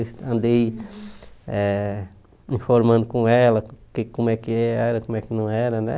Andei eh informando com ela que como é que era, como é que não era, né?